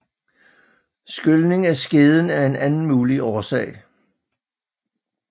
Skylning af skeden er en anden mulig årsag